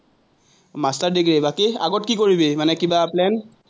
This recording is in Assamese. master degree, বাকী, আগত কি কৰিবি, মানে কিবা প্লেন?